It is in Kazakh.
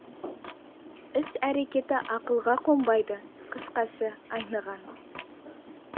іс әрекеті ақылға қонбайды қысқасы айныған